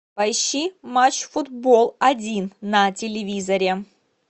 поищи матч футбол один на телевизоре